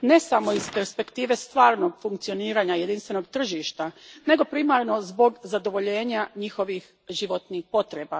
ne samo iz perspektive stvarnog funkcioniranja jedinstvenog tržišta, nego primarno zbog zadovoljenja njihovih životnih potreba.